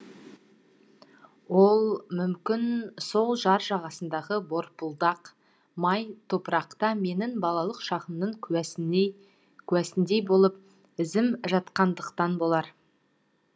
ол мүмкін сол жар жағасындағы борпылдақ май топырақта менің балалық шағымның куәсіндей болып ізім жатқандықтан болар